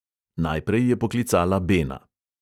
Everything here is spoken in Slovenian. Najprej je poklicala bena.